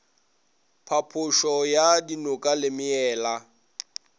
phapošo ya dinoka le meela